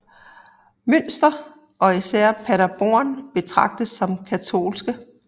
Münster og især Paderborn betragtes som katolske